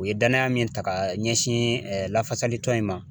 U ye danaya min ta ka ɲɛsin lafasali tɔn in ma